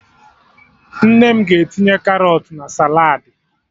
Nne m ga-etinye Karọt na saladị